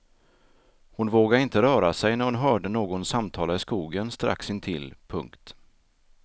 Hon vågade inte röra sig när hon hörde någon samtala i skogen strax intill. punkt